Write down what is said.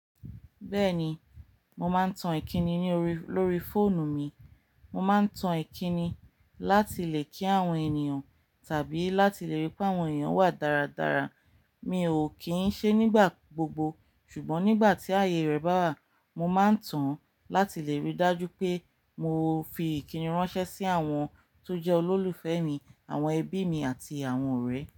Bẹ́ẹ̀ni, mo máa ń tan Ìkíni ní orí, lórí fóònù mi. Mo máa ń tan Ìkíni láti lè kí àwọn ènìyàn tàbí láti lè rí pé àwọn ènìyàn wà dáradára. Mi ò kín ṣe nígbà gbogbo ṣùgbọ́n nígbà tí ayé rẹ bá wà, mo máa ń tan láti lè rí dájú pé mo fi ìkíni ránṣẹ́ sí àwọn tó jẹ́ olólùfẹ́ mi, àwọn ẹbí mi àti àwọn ọ̀rẹ́.